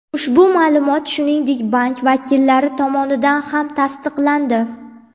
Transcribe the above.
Ushbu ma’lumot, shuningdek, bank vakillari tomonidan ham tasdiqlandi.